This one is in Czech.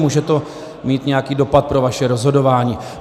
Může to mít nějaký dopad pro vaše rozhodování.